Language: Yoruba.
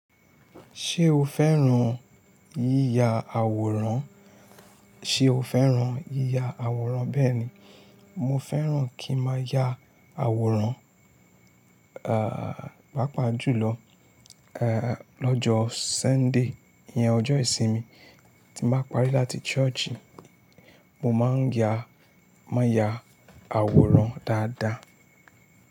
Ṣé o fẹ́ràn yíya àwòrán? Ṣe o fẹ́ràn yíya àwòrán bẹ́ẹ̀ni, mo fẹ́ràn kí n máa ya àwòrán, à, pàápàá jùlọ, èh, lọ́jọ́ Sunday, ìyẹn ọjọ́ ìsinmi tí mo bá parí láti ṣọ́ọ̀ṣì, mo máa ń ya, máa ya àwòrán dáadáa.